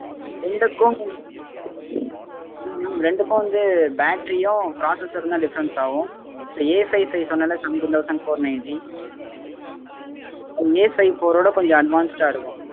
ரெண்டுக்கும் வந்து இல்ல mam ரெண்டுக்கும் வந்து battery உம் processor உம் தான் difference ஆகும். Afive five சொன்னேன் ல seventeen thousand four ninety அது Afive four விட கொஞ்சம் advanced ஆஹ் இருக்கும்